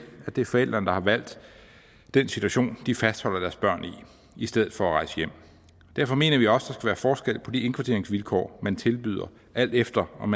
at det er forældrene der har valgt den situation de fastholder deres børn i i stedet for at rejse hjem derfor mener vi også være forskel på de indkvarteringsvilkår man tilbyder alt efter om